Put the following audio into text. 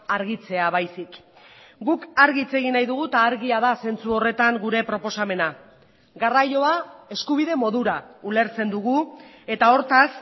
argitzea baizik guk argi hitz egin nahi dugu eta argia da zentzu horretan gure proposamena garraioa eskubide modura ulertzen dugu eta hortaz